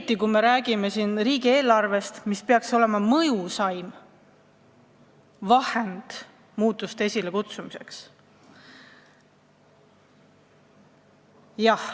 Praegu me räägime ju riigieelarvest, mis peaks olema mõjusaim vahend muutuste esilekutsumiseks.